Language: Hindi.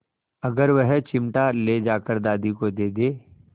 अगर वह चिमटा ले जाकर दादी को दे दे